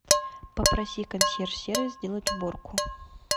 попроси консьерж сервис сделать уборку